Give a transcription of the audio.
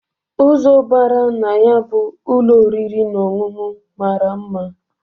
Ụzọ bara na ya bụ ụlọ oriri na ọṅụṅụ mara mma.